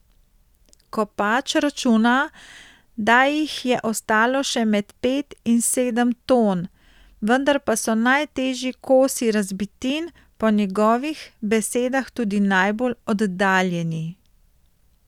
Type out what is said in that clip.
Kopač računa, da jih je ostalo še med pet in sedem ton, vendar pa so najtežji kosi razbitin po njegovih besedah tudi najbolj oddaljeni.